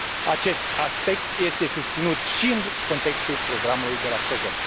Acest aspect este susținut și în contextul Programului de la Stockholm.